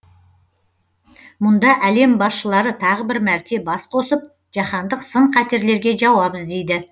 мұнда әлем басшылары тағы бір мәрте бас қосып жаһандық сын қатерлерге жауап іздейді